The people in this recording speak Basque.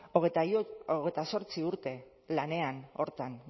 hogeita zortzi urte lanean horretan